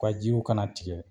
Ka jiko kana tigɛ